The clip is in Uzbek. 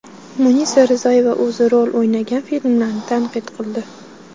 Munisa Rizayeva o‘zi rol o‘ynagan filmlarni tanqid qildi.